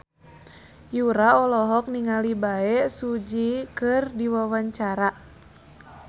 Yura olohok ningali Bae Su Ji keur diwawancara